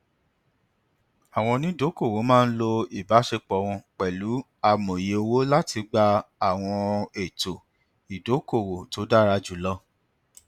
àwọn onídokòòwò máa ń lo ìbáṣepọ wọn pẹlú amòye owó láti gba àwọn ètò ìdókòòwò tó dára jù lọ